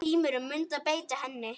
Heimir: Muntu beita henni?